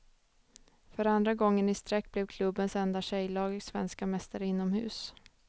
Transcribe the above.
För andra året i sträck blev klubbens enda tjejlag svenska mästare inomhus.